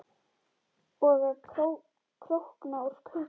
Og að krókna úr kulda.